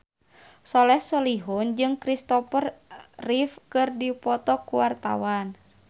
Soleh Solihun jeung Kristopher Reeve keur dipoto ku wartawan